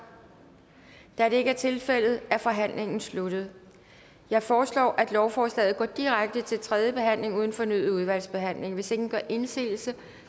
da det ikke er tilfældet er forhandlingen sluttet jeg foreslår at lovforslaget går direkte til tredje behandling uden fornyet udvalgsbehandling hvis ingen gør indsigelse